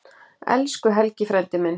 Elsku Helgi frændi minn.